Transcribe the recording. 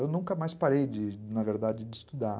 Eu nunca mais parei, na verdade, de estudar.